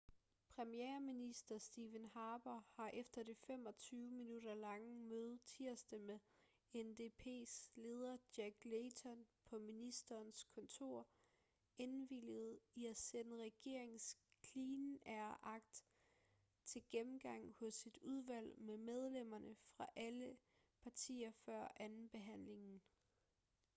premierminister stephen harper har efter det 25-minutter lange møde tirsdag med ndps leder jack layton på ministerens kontor indvilliget i at sende regeringens clean air act til gennemgang hos et udvalg med medlemmer fra alle partier før andenbehandlingen